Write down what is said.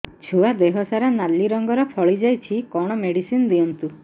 ଛୁଆ ଦେହ ସାରା ନାଲି ରଙ୍ଗର ଫଳି ଯାଇଛି କଣ ମେଡିସିନ ଦିଅନ୍ତୁ